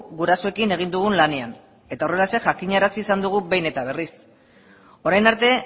gurasoekin egin dugun lanean eta horrelaxe jakinarazi izan dugu behin eta berriz orain arte